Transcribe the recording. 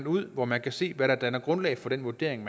ud hvor man kan se hvad der danner grundlag for den vurdering